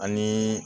Ani